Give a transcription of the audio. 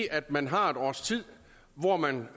at man har et års tid hvor man